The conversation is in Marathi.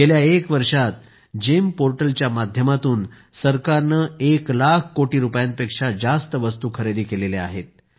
गेल्या एक वर्षात जीईएम पोर्टलच्या माध्यमातून सरकारने एक लाख कोटी रुपयांपेक्षा जास्तच्या वस्तू खरेदी केल्या आहेत